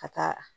Ka taa